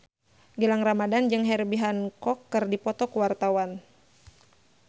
Gilang Ramadan jeung Herbie Hancock keur dipoto ku wartawan